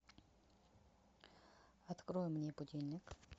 открой мне будильник